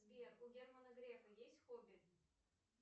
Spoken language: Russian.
сбер у германа грефа есть хобби